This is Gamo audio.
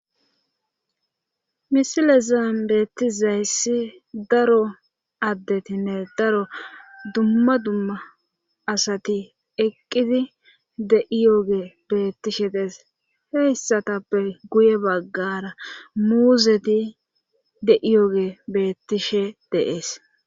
misilezan bettizayssi daro addetinne daro dumma dumma asati eqqidi de7iyoge beettishe dees heyssatappe guye baggara muuzeti deiyoge bettishe deees